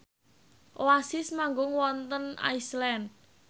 Oasis manggung wonten Iceland